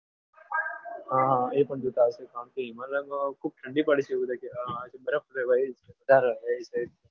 હા હા એ પણ જોતા આવીશું શાંતિથી હિમાલય ખૂબ ઠંડી વાળી જગ્યા છે હા બરફ છે ત્યાં જોરદાર છે ભાઈ